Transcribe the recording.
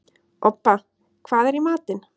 Obba, hvað er í matinn?